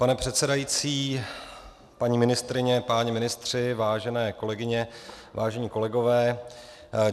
Pane předsedající, paní ministryně, páni ministři, vážené kolegyně, vážení kolegové.